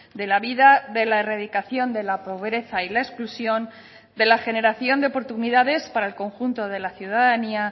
de la vida de la erradicación de la pobreza y la exclusión de la generación de oportunidades para el conjunto de la ciudadanía